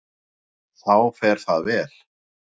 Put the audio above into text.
Þá fer það vel.